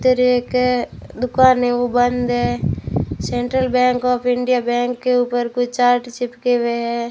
इधर एकअ दुकान है ओ बंद है central bank of India bank के ऊपर कोई चार्ट चिपके हुए हैं।